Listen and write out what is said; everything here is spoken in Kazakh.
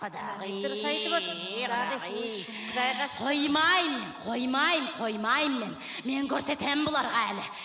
құдағи құдағи қоймаймын қоймаймын қоймаймын мен мен көрсетемін бұларға әлі